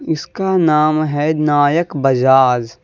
इसका नाम है नायक बजाज--